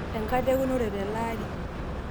enkata eunore tele Ari.